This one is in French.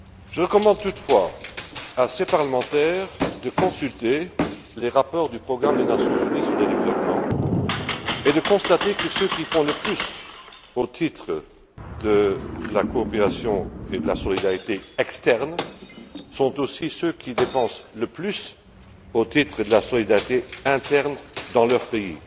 Je recommande toutefois à ces parlementaires de consulter les rapports du programme des Nations unies pour le développement, et de constater que ceux qui font le plus au titre de la coopération et de la solidarité externe sont aussi ceux qui dépensent le plus au titre de la solidarité interne dans leur pays.